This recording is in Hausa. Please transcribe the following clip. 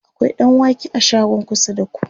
akwai ɗanwake a shagon kusa da ku?